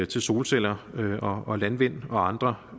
til solceller og landvind og andre